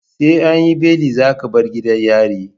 SE anyi beli zaka bar gidan yari